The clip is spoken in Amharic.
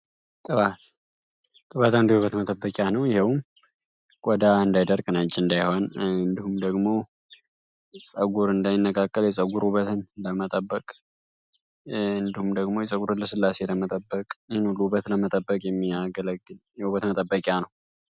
ቅበት እንደበት መጠበቅያ ነው። ይህውም ወዳ እንዳይደርግ ናጅ እንዳይሆን ንምደግሞ ጸጉር እንዳይነካከል የጉርበትንጠእንድሁም ደግሞ የጸጉር ለ ስላስ የለመጠበቅ ይህን ሉ በት ለመጠበቅ የሚያገለግ የሁበት መጠበቅያ ነው።